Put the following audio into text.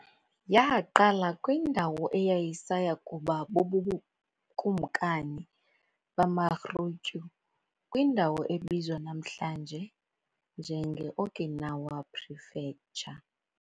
Yaqala kwindawo eyayisaya kuba bubukumkani bamaRyūkyū kwindawo ebizwa namhlanje nje ngeOkinawa Prefecture.